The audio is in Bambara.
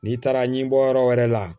N'i taara ɲinbɔ yɔrɔ wɛrɛ la